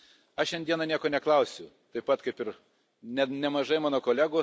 Aš šiandieną nieko neklausiu, taip pat kaip ir nemažai mano kolegų.